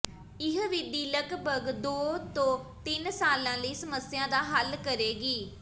ਇਹ ਵਿਧੀ ਲਗਭਗ ਦੋ ਤੋਂ ਤਿੰਨ ਸਾਲਾਂ ਲਈ ਸਮੱਸਿਆ ਦਾ ਹੱਲ ਕਰੇਗੀ